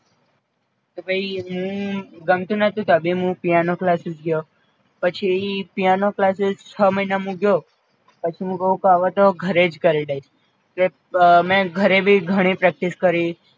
તો પઈ મું ગમતું નટુ તો બહુ મું પિઆનો ક્લાસીસ ગ્યો, પછી પિઆનો ક્લાસીસ મું ગ્યો પછી મું કઉ હવે તો ઘરે જ કરી લઇસ, તે મેં ઘરે ભી ઘણી પ્રેક્ટિસ કરી